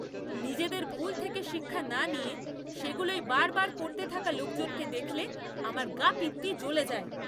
নিজেদের ভুল থেকে শিক্ষা না নিয়ে সেগুলোই বারবার করতে থাকা লোকজনকে দেখলে আমার গা পিত্তি জ্বলে যায়!